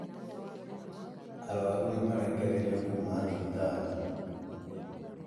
arũaru nĩ marekererio kuuma thibitarĩ.